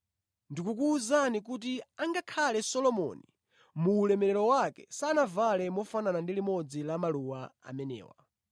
Ndikukuwuzani kuti angakhale Solomoni mu ulemerero wake sanavale mofanana ndi limodzi la maluwa amenewa.